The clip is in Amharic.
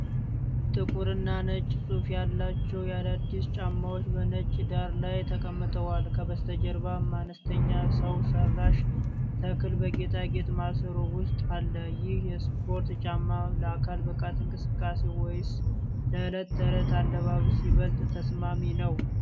ጥቁርና ነጭ ጽሑፍ ያላቸው የአዲዳስ ጫማዎች በነጭ ዳራ ላይ ተቀምጠዋል። ከበስተጀርባም አነስተኛ ሰው ሠራሽ ተክል በጌጣጌጥ ማሰሮ ውስጥ አለ። ይህ የስፖርት ጫማ ለአካል ብቃት እንቅስቃሴ ወይስ ለዕለት ተዕለት አለባበስ ይበልጥ ተስማሚ ነው?